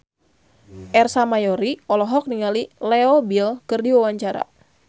Ersa Mayori olohok ningali Leo Bill keur diwawancara